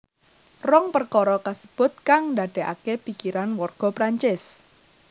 Rong perkara kasebut kang ndadekake pikiran warga Prancis